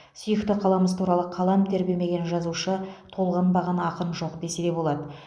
сүйікті қаламыз туралы қалам тербемеген жазушы толғанбаған ақын жоқ десе болады